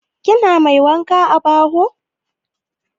Kina mai wanka a baho?